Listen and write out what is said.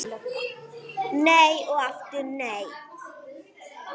Nei og aftur nei!